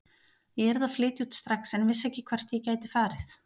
Ég yrði að flytja út strax en vissi ekki hvert ég gæti farið.